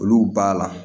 Olu b'a la